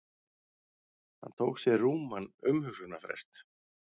Hann tók sér rúman umhugsunarfrest.